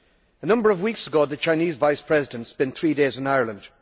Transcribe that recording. A number of weeks ago, the Chinese Vice President spent three days in Ireland.